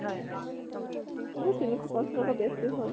এই যোৰ তিনিশ পাঁচ টকা বেছি হʼল ।